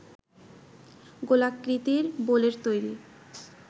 গোলাকৃতি বোলের তৈরী